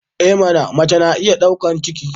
I mana! mace na iya daukar ciki.